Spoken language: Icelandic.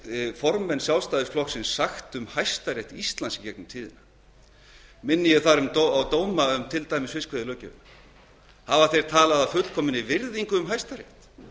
fornfræga flokks sjálfstæðisflokksins sagt um hæstarétt íslands í gegnum tíðina minni ég þar til dæmis á dóma um fiskveiðilöggjöfina hafa þeir talað af fullkominni virðingu um hæstarétt